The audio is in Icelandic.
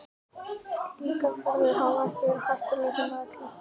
Slíkar ferðir hafa ekki verið hættulausar með öllu.